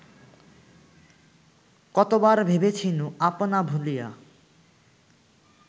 কতবার ভেবেছিনু আপনা ভুলিয়া